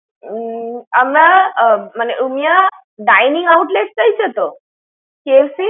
উম আমরা আহ মানে Rumiya dining outlet চাইছে তো, KFC ইর?